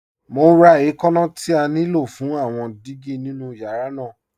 Mọ̀ n rá ẹ̀kànna tí à ní ló fún àwọn dígí nínu yàrá náà.